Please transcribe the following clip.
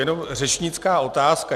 Jenom řečnická otázka.